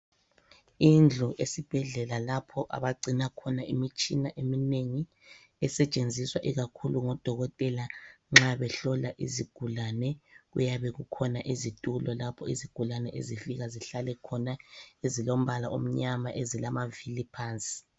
Indlu esibhedlela kapha abagcina khona imitshina eminengi. Esetshenziswa ikakhulu ngodokotela nxa behlola izigulane. Kuyabe kukhona izitulo lapha izigulane ezifika zihlale khona. Ezilombala omnyama, ezilamavili phansi.